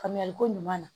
Faamuyali ko ɲuman na